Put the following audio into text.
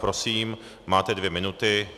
Prosím, máte dvě minuty.